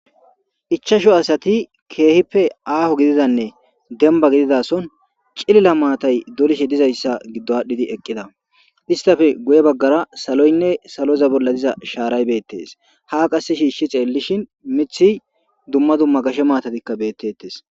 Ichashu asati keehippe aaho gididanne denba gididason cilila maatay dolishe dizayssa giddo aadhdhidi eqqida istafe guye baggara saloynne saloza bolla diza shaaray beettes ha qasse shiishshi xeellishin mithi dumma dumma gashe maatatikka beettettes.